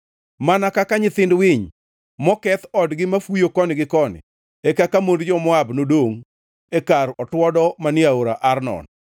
Mana kaka nyithind winy moketh odgi mafuyo koni gi koni, e kaka mond jo-Moab nodongʼ e kar otuodo manie Aora Arnon.